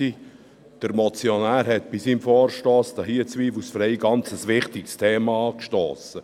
Der Motionär hat bei seinem Vorstoss zweifelsfrei ein ganz wichtiges Thema angestossen.